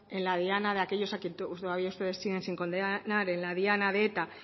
en la diana de aquellos a quienes ustedes siguen sin condenar en la diana de eta